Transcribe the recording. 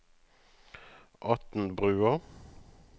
Atnbrua